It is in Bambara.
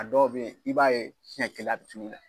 A dɔw be yen i b'a ye siɲɛ kelen a bi